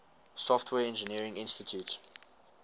software engineering institute